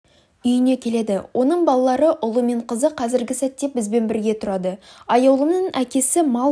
үйіңе келеді оның балалары ұлы мен қызы қазіргі сәтте бізбен бірге тұрады аяулымның әкесі мал